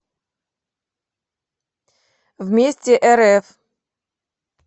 вместе рф